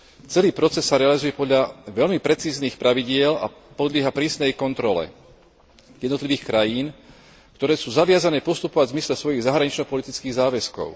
Celý proces sa realizuje podľa veľmi precíznych pravidiel a podlieha prísnej kontrole jednotlivých krajín, ktoré sú zaviazané postupovať v zmysle svojich zahranično politických záväzkov.